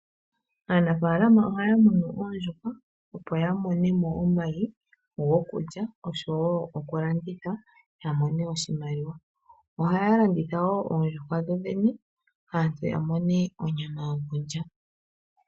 Aanafalama oha ya muna oondjuhwa, opo ya mone mo omayi gokulya oshowo oku landitha ya mone oshimaliwa. Oha ya landitha woo oondjuhwa dho dhene, aantu ya mone onyama yo kulya.